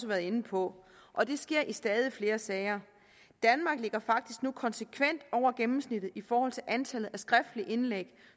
været inde på og det sker i stadig flere sager danmark ligger faktisk nu konsekvent over gennemsnittet i forhold til antallet af skriftlige indlæg